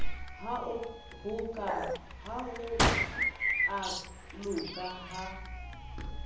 ha ho a loka ha